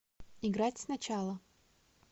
играть сначала